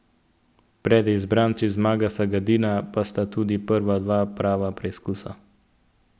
Pred izbranci Zmaga Sagadina pa sta tudi prva dva prava preizkusa.